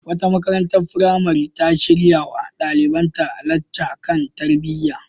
Wata makarantar firamare ta shirya wa ɗalibanta lacca kan tarbiyya.